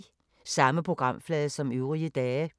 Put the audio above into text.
Samme programflade som øvrige dage